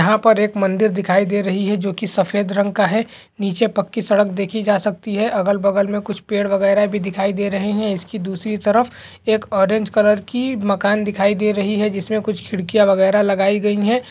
यहाँ पर एक मंदिर दिखाई दे रही है जोकि सफेद रंग का है नीचे पक्की सड़क देखी जा सकती है अगल-बगल में कुछ पेड़ वगैरा भी दिखाई दे रहें हैं उसकी दूसरी तरफ एक ऑरेंज कलर की मकान दिखाई दे रही है जिसमें कुछ खिडकियाँ वगैरा लगाई गई हैं।